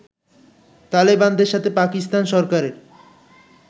তালেবানদের সাথে পাকিস্তান সরকারের